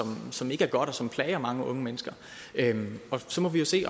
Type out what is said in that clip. som ikke er godt og som plager mange unge mennesker så må vi jo se